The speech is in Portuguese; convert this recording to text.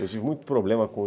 Eu tive muito problema com